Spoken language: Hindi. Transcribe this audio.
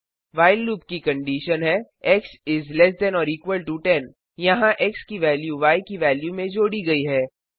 व्हाइल लूप की कंडिशन है एक्स इस less than or equal to 10 यहाँ एक्स की वेल्यू य की वेल्यू में जोड़ी गई है